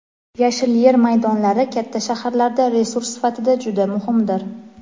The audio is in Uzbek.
Yashil yer maydonlari katta shaharlarda resurs sifatida juda muhimdir.